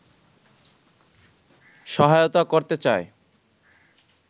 সহায়তা করতে চায়